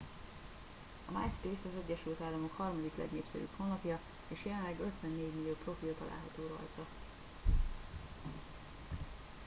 a myspace az egyesült államok harmadik legnépszerűbb honlapja és jelenleg 54 millió profil található rajta